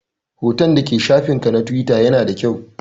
Hoton da ke shafin ka na Tiwita ya na da kyau